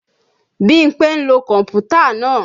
Bímpé ń lo kọ̀mpútà náà